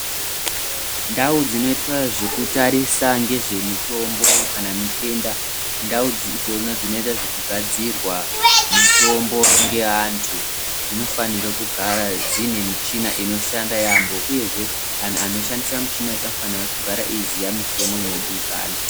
Ndau dzinoitwa zvekutarisa ngezvemitombo kana zvitenda ndau dzona dzinoita ngezvekugadzirwa mitombo yeantu dzinofanira kugara dzine michina inoshanda yaamho uyezve antu anoshandisa michinayo anofanira kugara eiziya mitemo inodikanwa.